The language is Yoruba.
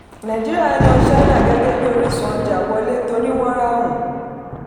nàìjíríà yan china gẹ́gẹ́ bí orísun ọjà wọlé torí wọ́n ráhùn.